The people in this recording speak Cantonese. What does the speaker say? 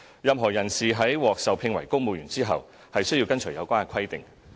任何人士在獲受聘為公務員後，便須跟隨有關規定。